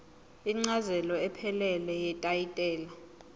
incazelo ephelele yetayitela